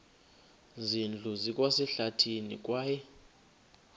zindlu zikwasehlathini kwaye